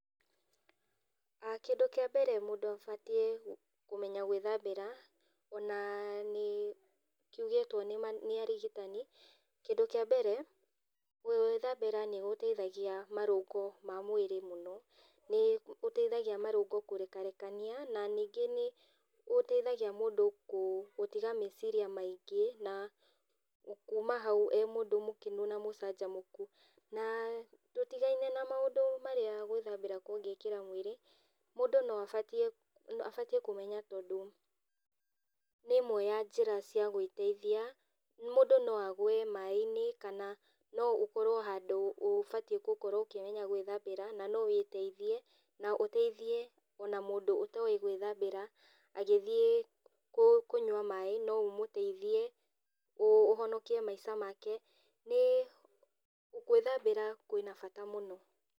Kĩndũ kĩa mbere mũndũ abatiĩ kũmenya gwĩthambĩra, ona nĩ kiugĩtwo nĩ arigitani, kindũ kĩa mbere, gwĩthambĩra nĩ gũteithagia marũngo ma mwĩrĩ mũno, nĩ ũteithagia marũngo kerekarekania, na ningĩ nĩgũteithagia mũndũ kũ gũtiga meciria maingĩ, na kuma hau e mũndũ mũkenu na mũcanjamũku. Na tutigaine na maũndũ marĩa gwĩthambĩra kũngĩkĩra mwĩrĩ, mũndũ no acarie abatie kũmenya tondũ nĩ ĩmwe ya njĩra cia gwĩteithia, mũndũ no agwe mainĩ, kana no ũkorwo handũ ũbatiĩ gũkorwo ũkĩmenya gwĩthambĩra, na no wĩteithie, na ũteithie ona mũndũ ũtoĩ gwĩthambĩra, agĩthiĩ kũ kũnyua maĩ no ũmũteithie, ũ ũhonokie maica make, nĩ gwĩthambĩra kwĩna bata mũno.